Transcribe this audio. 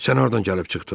Sən hardan gəlib çıxdın?